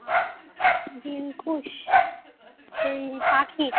দিলখুশ সেই পাখির